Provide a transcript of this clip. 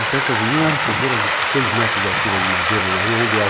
As festas juninas eram fogueiras de seis metros de altura de madeira na rua, onde é hoje